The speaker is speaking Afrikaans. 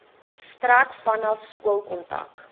strek vanaf skoolkontak